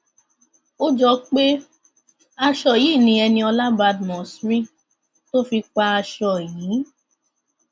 ó jọ pé aṣọ yìí ni eniola badmus rí tó fi pa aṣọ yìí